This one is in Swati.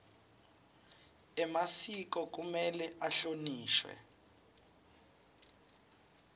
emasiko kumele ahlonishwe